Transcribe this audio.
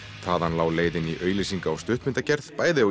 þaðan lá leiðin í auglýsinga og stuttmyndagerð bæði